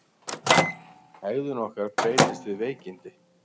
Hegðun okkar breytist við veikindi.